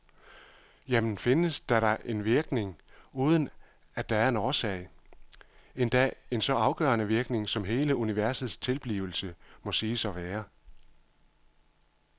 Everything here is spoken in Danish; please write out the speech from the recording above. Jamen, findes der da en virkning, uden at der en årsag, endda en så afgørende virkning som hele universets tilblivelse må siges at være.